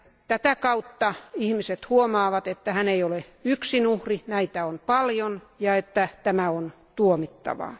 Tätä kautta ihmiset huomaavat, että hän ei ole yksin uhri, näitä on paljon, ja että tämä on tuomittavaa.